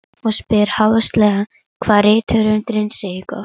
Og spyr háðslega hvað rithöfundurinn segi gott.